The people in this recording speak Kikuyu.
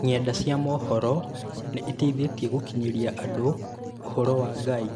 Ng'enda cia mohoro nĩ iteithĩtie gũkinyĩria andũ ũhoro wa Ngai